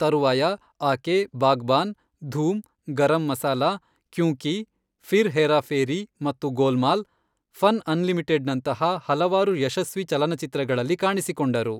ತರುವಾಯ, ಆಕೆ ಬಾಗ್ಬಾನ್, ಧೂಮ್, ಗರಂ ಮಸಾಲಾ, ಕ್ಯೂಂ ಕಿ, ಫಿರ್ ಹೇರಾ ಫೇರಿ ಮತ್ತು ಗೋಲ್ಮಾಲ್, ಫನ್ ಅನ್ಲಿಮಿಟೆಡ್ನಂತಹ ಹಲವಾರು ಯಶಸ್ವಿ ಚಲನಚಿತ್ರಗಳಲ್ಲಿ ಕಾಣಿಸಿಕೊಂಡರು.